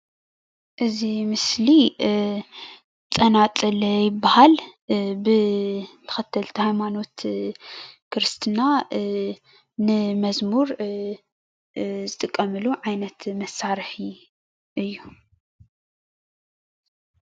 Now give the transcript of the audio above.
እዚ ምስሊ ፀናፀል ይበሃል ብተከተልቲ ሃይማኖት ከረስትና ንመዝሙር ዝጥቀመሉ ዓይነት መሳርሒ እዩ፡፡